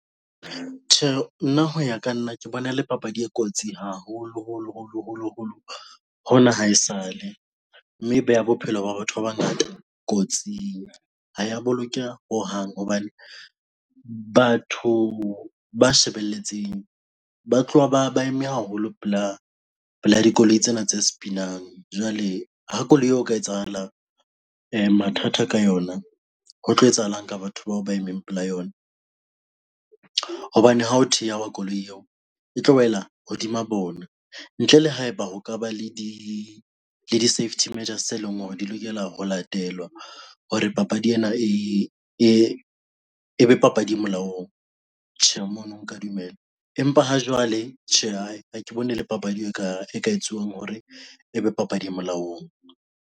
Tjhe, nna hoya ka nna ke bona e le papadi e kotsi haholo holo, holo, holo, holo hona haesale mme e beha bophelo ba batho ba bangata kotsing. Ha ya bolokeha hohang hobane batho ba shebelletseng ba tloha ba eme haholo pela dikoloi tsena tse sepinang. Jwale ha koloi eo ho ka etsahala mathata ka yona ho tlo etsahalang ka batho bao ba emeng pela yona? Hobane ha ho thehwa koloi eo e tlo wela hodima bona ntle le haeba ho ka ba le di le di-safety majors e leng hore di lokela ho latelwa hore papadi ena e be papadi e molaong. Tjhe, mono nka dumela, empa ha jwale, tjhe hae ha ke bone le papadi e kare e ka etsuwang hore ebe papadi e molaong.